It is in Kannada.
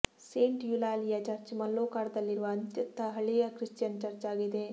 ಸೇಂಟ್ ಯುಲಾಲಿಯಾ ಚರ್ಚ್ ಮಲ್ಲೋರ್ಕಾದಲ್ಲಿರುವ ಅತ್ಯಂತ ಹಳೆಯ ಕ್ರಿಶ್ಚಿಯನ್ ಚರ್ಚ್ ಆಗಿದೆ